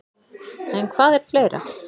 En hvað er fleira?